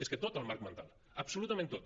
és que tot el marc mental absolutament tot